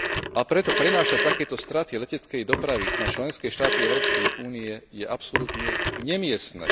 A preto prenášať takéto straty leteckej dopravy na členské štáty Európskej únie je absolútne nemiestne.